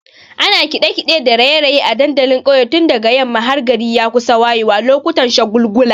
Ana kiɗe-kiɗe da raye-raye a dandalin ƙauye tun daga yamma har gari ya kusa wayewa lokutan shagulgula.